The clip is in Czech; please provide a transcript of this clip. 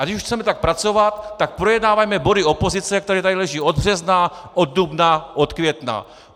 A když už chceme tak pracovat, tak projednávejme body opozice, které tady leží od března, od dubna, od května!